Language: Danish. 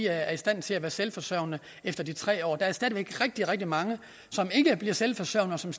er i stand til at være selvforsørgende efter de tre år der er stadig væk rigtig rigtig mange som ikke bliver selvforsørgende og som